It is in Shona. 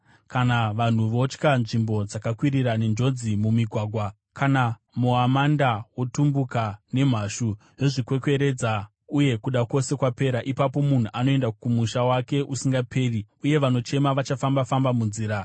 kana vanhu votya nzvimbo dzakakwirira nenjodzi mumigwagwa; kana muamanda wotumbuka nemhashu yozvikwekweredza uye kuda kwose kwapera. Ipapo munhu anoenda kumusha wake usingaperi, uye vanochema vachafamba-famba munzira.